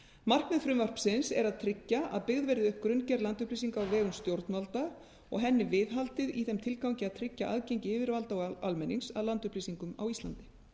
markmið frumvarpsins er að tryggja að byggð verði upp grunngerð landupplýsinga á vegum stjórnvalda og henni viðhaldið í þeim tilgangi að tryggja aðgengi yfirvalda og almennings að landupplýsingum á íslandi